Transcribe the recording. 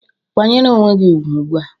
"Kwanyere onwe gị ugwu ugbu a!"